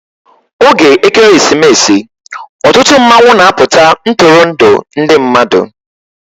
Oge Ekeresimesi, ọtụtụ mmanwụ na-apụta Ntụrụndụ ndị mmadụ